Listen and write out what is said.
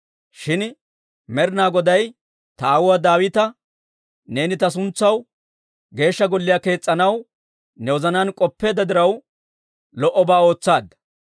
Shin Med'inaa Goday ta aawuwaa Daawita, ‹Neeni ta suntsaw Geeshsha Golliyaa kees's'anaw ne wozanaan k'oppeedda diraw, lo"obaa ootsaadda.